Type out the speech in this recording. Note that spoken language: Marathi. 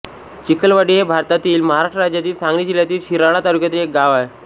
चिखलवाडी हे भारतातील महाराष्ट्र राज्यातील सांगली जिल्ह्यातील शिराळा तालुक्यातील एक गाव आहे